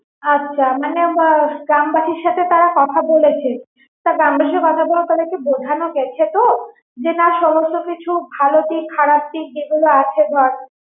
আচ্ছা মানে গ্রামবাসীর সাথে তারা কথা বলেছে তা গ্রামবাসী কথা বোঝানো গেছে তো না যে সমস্ত কিছু ভালো দিক খারাপ দিক যে গুলো আছে ধর